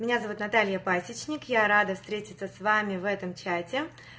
меня зовут наталья пасечник я рада встретиться с вами в этом чате